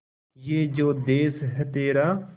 ये जो देस है तेरा